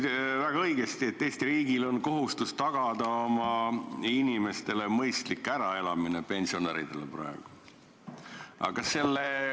Sa ütlesid väga õigesti, et Eesti riigil on kohustus tagada oma inimestele, ka praegustele pensionäridele mõistlik äraelamine.